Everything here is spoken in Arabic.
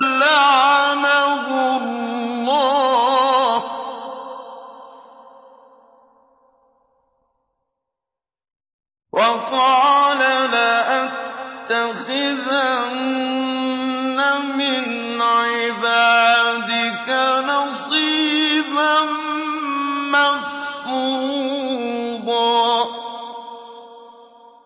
لَّعَنَهُ اللَّهُ ۘ وَقَالَ لَأَتَّخِذَنَّ مِنْ عِبَادِكَ نَصِيبًا مَّفْرُوضًا